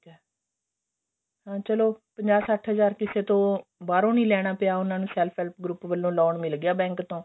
ਚੱਲੋ ਪੰਜਾ ਸੱਠ ਹਜ਼ਾਰ ਕਿਸੇ ਤੋਂ ਬਾਹਰੋਂ ਨਹੀਂ ਲੈਣਾ ਪਿਆ ਉਹਨਾਂ ਨੂੰ self help group ਵੱਲੋ loan ਮਿਲ ਗਿਆ bank ਤੋਂ